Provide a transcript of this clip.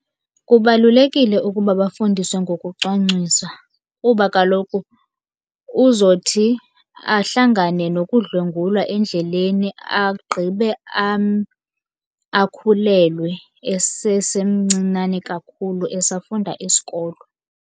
Kubalulekile ukuba bafundiswe ngokucwangcwisa. Kuba kaloku uzothi ahlangane nokudlwengulwa endleleni, agqibe akhulelwe esesemncinane kakhulu esafunda isikolo.